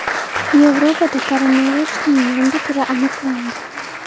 Yevropada koronavirusning yangi turi aniqlandi.